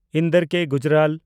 ᱤᱱᱫᱚᱨ ᱠᱮ. ᱜᱩᱡᱽᱨᱟᱞ